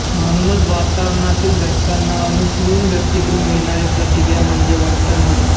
म्हणूनच वातावरणातील घटकांना अनुसरून व्यक्तीकडून मिळणारी प्रतिक्रिया म्हणजे वर्तन होय